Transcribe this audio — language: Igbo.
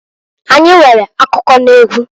Anyi nwere akụkụ n'egwu.